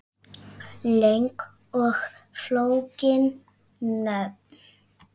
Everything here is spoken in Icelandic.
Löng og flókin nöfn